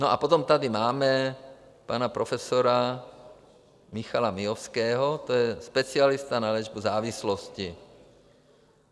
No a potom tady máme pana profesora Michala Miovského, to je specialista na léčbu závislosti.